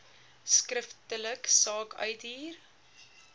skriftelik saak uithuur